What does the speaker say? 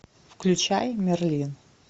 включай мерлин